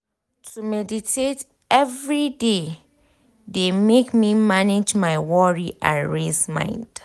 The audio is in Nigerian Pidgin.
to meditate every dey de make me manage my worry and race mind.